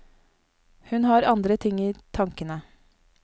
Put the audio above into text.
Hun har andre ting i tankene.